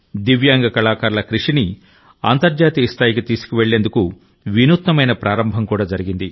దివ్యాంగ కళాకారుల కృషిని అంతర్జాతీయ స్థాయికి తీసుకువెళ్లేందుకు వినూత్నమైన ప్రారంభం కూడా జరిగింది